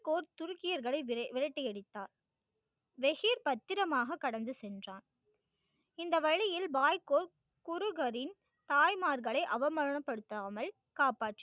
பாய் கோர்ட் துருக்கியர்களை விரட்டியடித்தார். ரெஷீர் பத்திரமாக கடந்து சென்றான். இந்த வழியில் வாய்க்கோல் குறுகரின் தாய்மார்களை அவமானப்படுத்தாமல் காப்பாற்றி